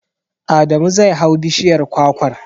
Adamu zai hau bishiyar kwakwar.